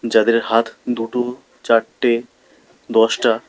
যাদের হাত দুটো চারটে দশটা।